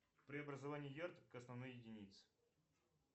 преобразование ярд к основной единице